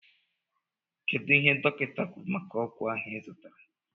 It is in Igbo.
kedụ ihe dọkita kwụrụ maka ọgwụ ahụ izụtara?